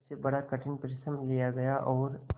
उससे बड़ा कठिन परिश्रम लिया गया और